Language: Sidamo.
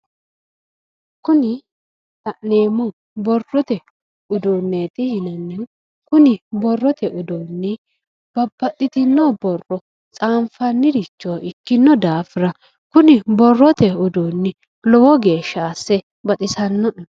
Kuni la'neemmohu borrote uduuneti yinnanniho, kuni borrote uduuni babbaxitino borro tsanifanniricho ikkino daafira kunni borrote uduuni lowo geeshsha asse baxisanoe".